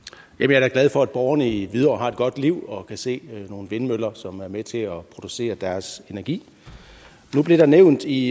jeg er glad for at borgerne i hvidovre har et godt liv og kan se nogle vindmøller som er med til at producere deres energi nu blev der nævnt i